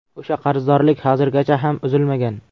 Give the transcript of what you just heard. O‘sha qarzdorlik hozirgacha ham uzilmagan.